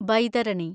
Baitarani